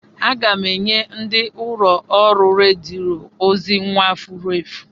Aga m enye ndi ụlọ ọrụ rediyo ozi nwa furu efu.